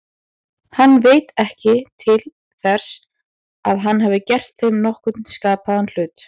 Hann veit ekki til þess að hann hafi gert þeim nokkurn skapaðan hlut.